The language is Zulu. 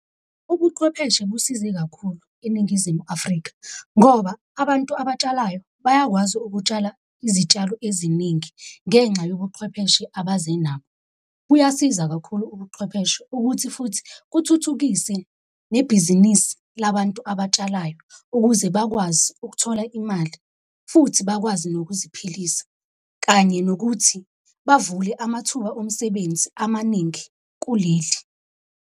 Ubuqhwepheshe busize kakhulu eNingizimu Afrika, ngoba abantu abatshalayo bayakwazi ukutshala izitshalo eziningi ngenxa yobuqhwepheshe abaze nabo, kuyasiza kakhulu ubuqhwepheshe ukuthi futhi kuthuthukise nebhizinisi labantu abatshalayo ukuze bakwazi ukuthola imali, futhi bakwazi nokuziphilisa kanye nokuthi bavule amathuba omsebenzi amaningi kuleli.